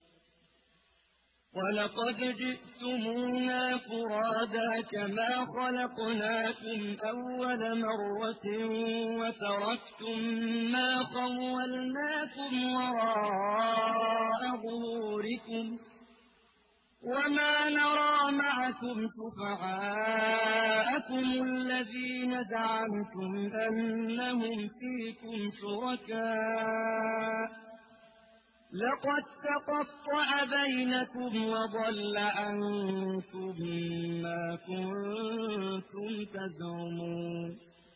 وَلَقَدْ جِئْتُمُونَا فُرَادَىٰ كَمَا خَلَقْنَاكُمْ أَوَّلَ مَرَّةٍ وَتَرَكْتُم مَّا خَوَّلْنَاكُمْ وَرَاءَ ظُهُورِكُمْ ۖ وَمَا نَرَىٰ مَعَكُمْ شُفَعَاءَكُمُ الَّذِينَ زَعَمْتُمْ أَنَّهُمْ فِيكُمْ شُرَكَاءُ ۚ لَقَد تَّقَطَّعَ بَيْنَكُمْ وَضَلَّ عَنكُم مَّا كُنتُمْ تَزْعُمُونَ